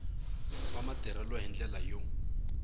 wa matirhelo hi ndlela yo